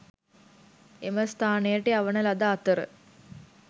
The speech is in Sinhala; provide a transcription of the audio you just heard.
එම ස්ථානයට යවන ලද අතර